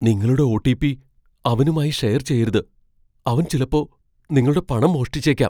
നിങ്ങളുടെ ഒ.ടി.പി.അവനുമായി ഷെയർ ചെയ്യരുത്. അവൻ ചിലപ്പോ നിങ്ങളുടെ പണം മോഷ്ടിച്ചേക്കാം.